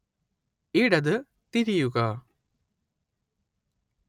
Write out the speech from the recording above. ഇടത് തിരിയുക